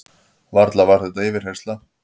Varla var þetta yfirheyrsla?